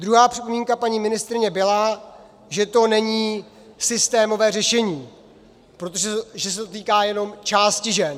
Druhá připomínka paní ministryně byla, že to není systémové řešení, protože se to týká jenom části žen.